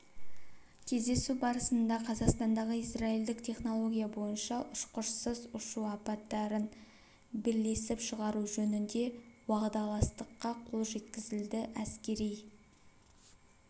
кездесу барысында қазақстандағы израильдік технология бойынша ұшқышсыз ұшу аппараттарын бірлесіп шығару жөнінде уағдаластыққа қол жеткізілді әскери